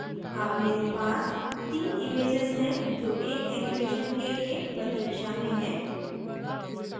अब मेरे पास तीन images हैं जो एक animation के लिए प्रतीक्षा में हैं